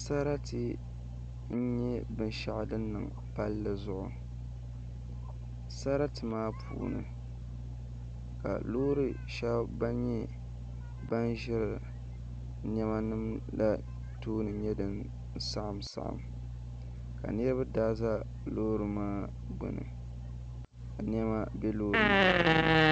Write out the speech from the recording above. Sarati n nyɛ binshaɣu din niŋ palli zuɣu sarati maa puuni ka loori shab ban nyɛ ban ʒiri niɛma nim la tooni saɣim saɣim pam ka niraba daa ʒɛ Loori maa gbuni ka niɛma bɛ loori maa puuni